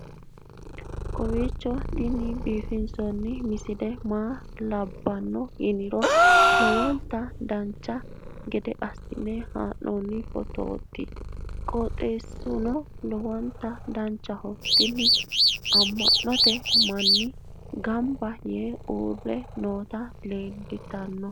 kowiicho tini biiffanno misile maa labbanno yiniro lowonta dancha gede assine haa'noonni foototi qoxeessuno lowonta danachaho. tini amma'note manni gamba yee uurre nooti leeltanno